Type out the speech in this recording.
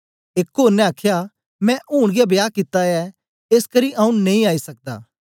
एक ओर ने आखया मैं ऊन गै ब्याह कित्ता ऐ एसकरी आऊँ नेई आई सकदा